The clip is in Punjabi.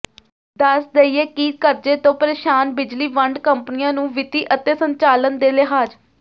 ਦੱਸ ਦਈਏ ਕਿ ਕਰਜ਼ੇ ਤੋਂ ਪ੍ਰੇਸ਼ਾਨ ਬਿਜਲੀ ਵੰਡ ਕੰਪਨੀਆਂ ਨੂੰ ਵਿੱਤੀ ਅਤੇ ਸੰਚਾਲਨ ਦੇ ਲਿਹਾਜ਼